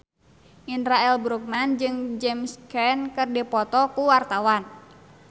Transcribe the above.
Indra L. Bruggman jeung James Caan keur dipoto ku wartawan